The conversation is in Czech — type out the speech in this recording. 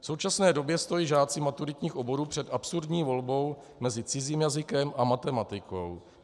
V současné době stojí žáci maturitních oborů před absurdní volbou mezi cizím jazykem a matematikou.